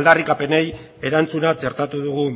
aldarrikapenei erantzuna txertatu dugu